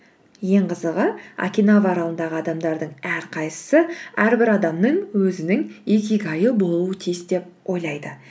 ең қызығы окинава аралындағы адамдардың әрқайсысы әрбір адамның өзінің икигайы болуы тиіс деп ойлайды